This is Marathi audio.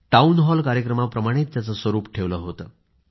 टाऊन हॉलकार्यक्रमाप्रमाणे त्याचं स्वरूप ठेवलं होतं